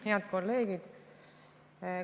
Head kolleegid!